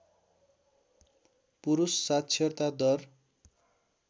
पुरुष साक्षरता दर